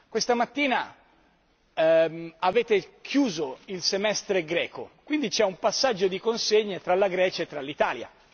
Questa mattina avete chiuso il Semestre greco quindi c'è un passaggio di consegne tra la Grecia e l'Italia.